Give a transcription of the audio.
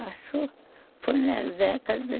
Acho que foi na década